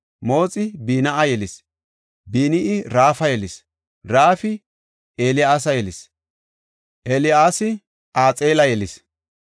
Mooxi Bin7a yelis; Bin77i Raafa yelis; Raafi El7aasa yelis; El7aasi Axeela yelis.